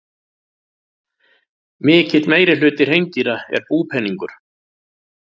Mikill meirihluti hreindýra er búpeningur.